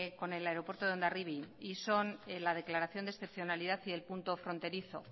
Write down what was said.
con el aeropuerto de hondarribia y son la declaración de excepcionalidad y del punto fronterizo